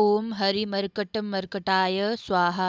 ॐ हरिमर्कटमर्कटाय स्वाहा